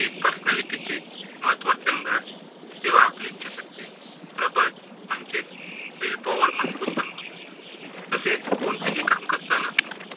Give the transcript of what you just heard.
कि personality चे महत्त्वाचे अंग आहे, तेव्हा आपली इच्छाशक्ती, प्रबळ म्हणजेच will power मजबूत बनवणं. तसेच कोणतेही काम करताना